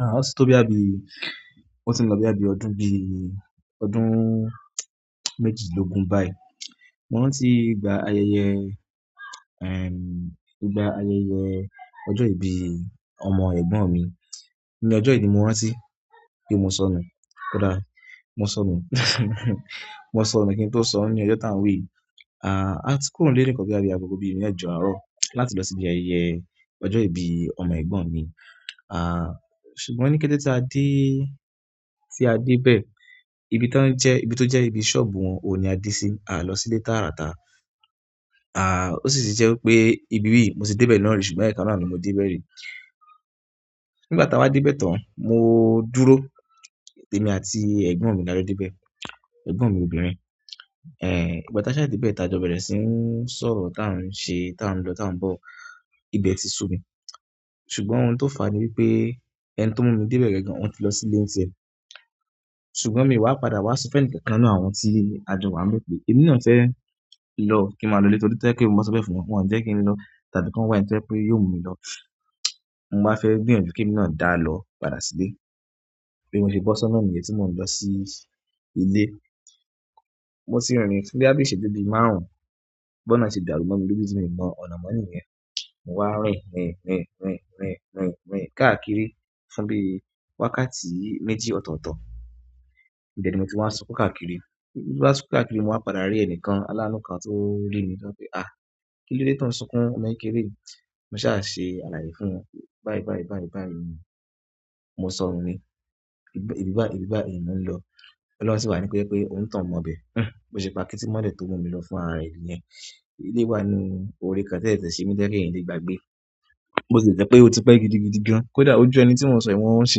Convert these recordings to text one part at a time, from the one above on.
Ah, o ti tó boya bí, o ti n lọ boya bí ọdún bí, ọdún méjìdinlógún báyìí. Mo rántí ìgbà ayẹyẹ, ehm, ìgbà ayẹyẹ ọjọ́ ìbí ọmọ ẹ̀gbọ́n mi. Ni ọjọ́ ìbí mo rántí pe mo sọnù. Kódà mo sọnù, mo sọnù kín tó sọnù ní ọjọ́ tá ń wí yìí. Ah, a ti kúrò ní ilé ní nkan boya bi àgogo bí mẹ́jọ àárọ̀ láti lọ síbi ayẹyẹ ọjọ́ ìbí ọmọ ẹ̀gbọ́n mi. Ah, ṣùgbọ́n ní kété tí a dé, tí a dé bẹ́ẹ̀, ibi tá ń jẹ́, ibi tó jẹ́ ibi ṣọ́ọ̀bù wọn òun ní a dé sí. A lọ sílé táàrà tà. Ah, ó sì ti jẹ́ wipé ibi ibiyi, mo ti dé bẹ́ẹ̀ náà ri ṣùgbọ́n ẹ̀ekan náà ni mo ti dé bẹ́rẹ́ ri. Nígbà tá a wáa dé bẹ́ẹ̀ tán, mo dúró, èmi àti ẹ̀gbọ́n mi la jọ dé bẹ́ẹ̀, ẹ̀gbọ́n mi obìnrin. Eh, ígbà tá a ṣà dé bẹ́ẹ̀, tá a jọ bẹ̀rẹ̀ sí ń sọ̀rọ̀ tá ń ṣe, tá ń lọ, tá ń bọ̀, ibẹ̀ ti ṣú mi. Ṣùgbọ́n ohun tó fà á ni wípé ẹni tó mú mi dé bẹ́ẹ̀ gangan, òun ti lọ sílé ńtiẹ́. Ṣùgbọ́n mi wá padà wá sọ fún ẹnìkan kan nínú àwọn tí a jọ wá ń bẹ́ẹ̀ pé, "Èmi náà fẹ́ lọ kí n máa lọ ilé, torí to be je pe mó ba sọ bẹ́ẹ̀ fún wọn, wọ́n ò ní jẹ́ kí n lọ, tàbí kan wá ẹni to jẹ́ pé yóò mú mi lọ." Mo máa fẹ́ gbìyànjú kí èmi náà dá lọ padà sílé. Bi mo ṣe bọ́ sọna niyen tí mo n lọ sí ilé. Mo tì rìn fún boya bí iṣeju bi márùn-ún. Bi onáà se dàrú mo mi loju ti mi mọ ọ̀nà mọ́ níyẹn. Mo wá rìn, rìn, rìn, rìn, rìn, rìn, rìn káàkiri fún bí wákàtí méjì ọ̀tọ̀ọ̀tọ̀. Ibe ni mo ti wá sunkún káàkiri. Ni mo wá sunkún káàkiri, mo wá padà rí ẹnìkan alánù kan tó rí mi tán pé, "Ah! Kí ló dé tó ń sunkún ọmọ kekéré yìí?" Mo ṣà ṣe àlàyé fún wọn pé, "Báyìí, báyìí, báyìí, báyìí ni mo sọnù ni. Ibi báyìí, ibi báyìí ni mò ń lọ." Oloun si wa ni ko je pe onitoun mo ibe. Hm, bo se pakiti mole to mu mi lo fúnra re niyen. Ilé wá ní orí kan tan sese se ni decking n lè gbagbé. Bo tie jẹ́ pé, "O ti pẹ́ gidigidi gan." Kódà óju ẹni tí mo n sọ yìí, mo sì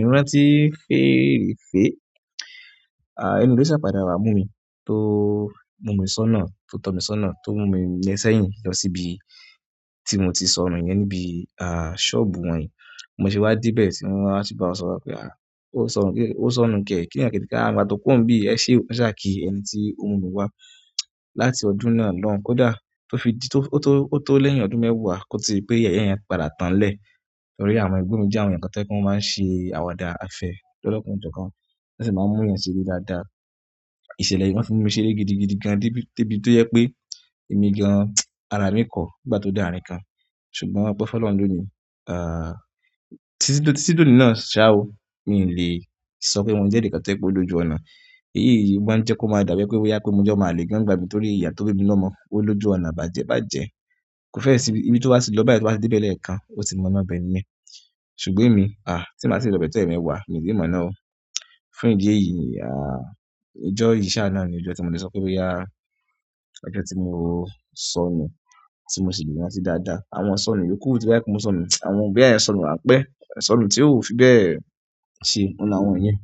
ń rántí fèèrefé. Ah, ẹni yìí ló ṣà padà wá mú mi tó mú mi sọnáà, tó tọ́ mi sọnáà, tó mú mi lé sẹ́yìn lọ síbi tí mo ti sọnù yẹn níbi ah, ṣọ́ọ̀bù wọ̀n yí. Bi mo se wá dé bẹ́ẹ̀ tí wọ́n wa bá sọ̀rọ̀ wípé, "Ah, ó sọnù kẹ́, ó sọnù kẹ́." Kí ní àǹkẹ́tì ká mo gbà tó kúrò ńbí i, ẹ ṣé o, won ṣà kí ẹni tí ó mú mi wá láti ọdún náà lọ́hun. Kódà tó fi dí, tó, ó tó, ó tó lẹ́yìn ọdún mẹ́wàá kó to di pé yẹ́ye yẹn padà tán nlẹ̀. Torí àwọn ẹ̀gbọ́n mi jẹ́ àwọn ẹyan kan to jẹ́ pe wọ́n máa ń ṣe àwàdà, afẹ̀ lọ́lọ́ kan o jo kan. Wọ́n sì máa ń mú èèyàn ṣeré dáadáa. Ìṣẹ̀lẹ̀ yìí won fún mi ṣeré gidigidi gan débi, dé ibi tó je pé èmi gan, ara mi kọ̀ nígbà tó de àárín kan. Ṣùgbọ́n ope fún Ọlọ́run loni ah, títí di oni náà ṣá ọ́, mi ò lè sọ pé mo jẹ́ ẹnìkan tó je pé o lójú ọ̀nà. Èyí yìí wá ń jẹ́ kó máa dàbí ẹni pé boya pe mo jẹ́ ọmọ àlè gan nígbà mí torí iya tó bí mi lomo o lójú ọ̀nà bàjẹ́ bàjẹ́. Ko fe si ibi, ibi to ba ti lo báyìí to ba to de be lẹ́ẹ̀kan, o ti mo ọ̀nà ibe niyen ṣùgbọ́n emi ah, ti n ba ti i lo ibe to emeewa mi o tii mona o. Fún ìdí èyí, ah, ọjọ́ yìí sá à nà á ní ọjọ́ tí mo lè sọ pé boya yá, ọjọ́ tí mo sọnù tí mo sì lè rántí dáadáa. Àwọn isọnù yòókù tí o ba jẹ pe mo sọnù, àwọn boya eyan sọnù ranpẹ́ isọnù tí ò fi bẹ́ẹ̀ ṣe, oun làwọn iyẹn.